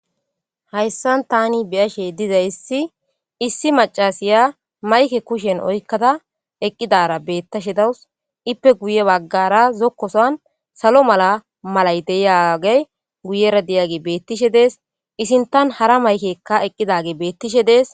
Hayssan thaani be7ashe dizayssi issi maccasiya mayke kushen oykkada eqqidaara beeththashe dawus; ippe guye baggaara zokko sohuwan salo mala malay de7iyaagee guyera diyaagee beeththishe de7es; i sinththan hara maykeekka eqqidaagee beeththishe de7es.